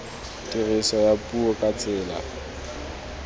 tiriso ya puo ka tsela